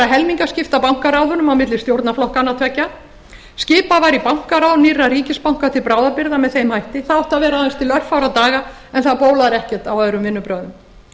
helmingaskipta bankaráðunum á milli stjórnarflokkanna tveggja skipað var í bankaráð nýrra ríkisbanka til bráðabirgða með þeim hætti það átti að vera til örfárra daga en það bólar ekkert á öðrum vinnubrögðum